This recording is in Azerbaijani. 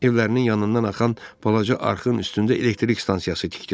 Evlərinin yanından axan balaca arxın üstündə elektrik stansiyası tikdilər.